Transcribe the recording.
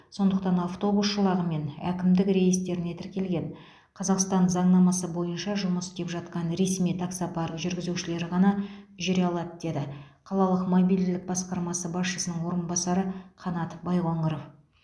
сондықтан автобус жолағымен әкімдік реестріне тіркелген қазақстан заңнамасы бойынша жұмыс істеп жатқан ресми таксопарк жүргізушілері ғана жүре алады деді қалалық мобильділік басқармасы басшысының орынбасары қанат байқоңыров